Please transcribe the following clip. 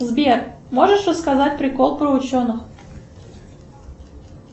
сбер можешь рассказать прикол про ученых